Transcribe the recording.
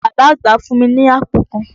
Bàbá àgbà fún mi ni àpò kan.